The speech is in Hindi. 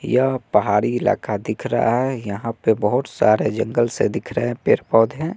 यह पहाड़ी इलाका दिख रहा है यहां पे बहोत सारे जंगल से दिख रहे पेड़ पौधे।